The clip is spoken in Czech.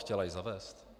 Chtěla ji zavést?